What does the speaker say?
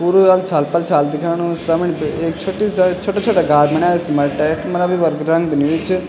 पुरु अल्छाल-पल्छाल दिख्याणु समणी पे एक छुट्टी सी छुट्टा-छुट्टा घार बण्या सिमंट क मलब इबर रंग भी नहीं हुयुं च।